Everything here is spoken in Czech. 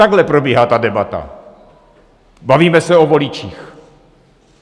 Takhle probíhá ta debata: bavíme se o voličích.